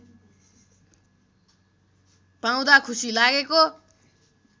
पाउँदा खुशी लागेको